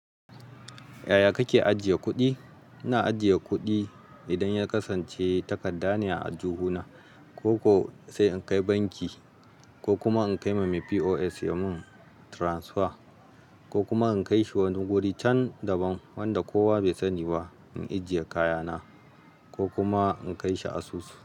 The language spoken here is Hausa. Yaya kake ajiye kuɗi? Ina ajiye kuɗi idan ya kasance takarda ne a aljihuna, ko sai in kai banki ko kuma in kai ma me POS ya mun transfer ko kuma in kai shi wani guri can daban wanda kowa bai sani ba in ajiye kayana ko kuma in kai shi asusu.